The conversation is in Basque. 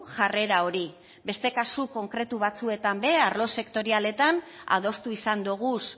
jarrera hori beste kasu konkretu batzuetan be arlo sektorialetan adostu izan doguz